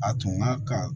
A tun ka kan